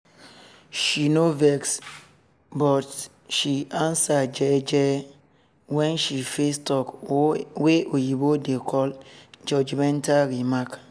she nor vex but she answer jeje wen she face talk wey oyibo dey call judgemental remark